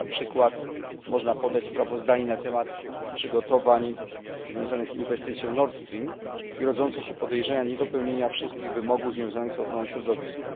Jako przykład można podać sprawozdanie na temat przygotowań związanych z inwestycją Nord Stream i rodzące się podejrzenie niedopełnienia wszystkich wymogów związanych z ochroną środowiska.